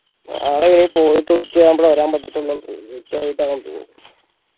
നാളെ ഇനി പോയിട്ട് ഉച്ചയാവുമ്പോളേ വരാൻ പറ്റത്തുള്ളൂ ഉച്ച തോന്നുന്നു